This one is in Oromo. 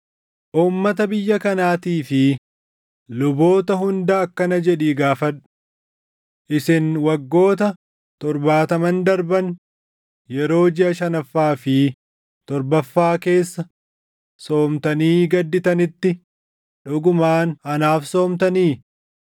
“Uummata biyya kanaatii fi luboota hunda akkana jedhii gaafadhu; ‘Isin waggoota torbaataman darban yeroo jiʼa shanaffaa fi torbaffaa keessa soomtanii gadditanitti dhugumaan anaaf soomtanii?